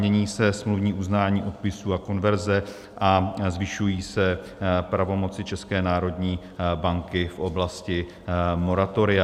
Mění se smluvní uznání odpisů a konverze a zvyšují se pravomoci České národní banky v oblasti moratoria.